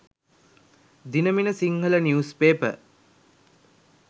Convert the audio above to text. dinamina sinhala news paper